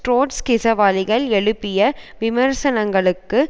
ட்ரொட்ஸ்கிசவாலிகள் எழுப்பிய விமர்சனங்களுக்கு